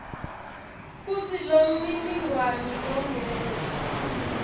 kutsi lomniningwane longenla